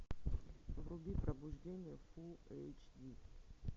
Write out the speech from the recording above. вруби пробуждение фул эйч ди